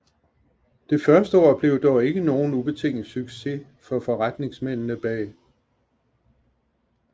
Det første år blev dog ikke nogen ubetinget succes for forretningsmændene bag